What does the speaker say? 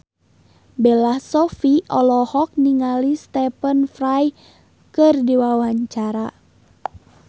Bella Shofie olohok ningali Stephen Fry keur diwawancara